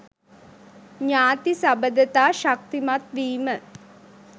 ඥාති සබඳතා ශක්තිමත් වීම